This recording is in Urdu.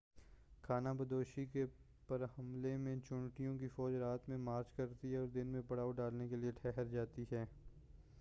خانہ بدوشی کے پمرحلہ میں چیونٹیوں کی فوج رات میں مارچ کرتی ہے اور دن میں پڑاؤ ڈالنے کے لئے تھہر جاتی ہیں